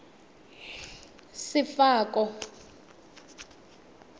sefako